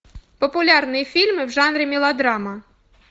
популярные фильмы в жанре мелодрама